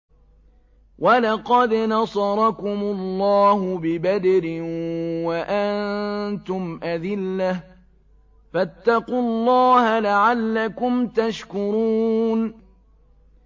وَلَقَدْ نَصَرَكُمُ اللَّهُ بِبَدْرٍ وَأَنتُمْ أَذِلَّةٌ ۖ فَاتَّقُوا اللَّهَ لَعَلَّكُمْ تَشْكُرُونَ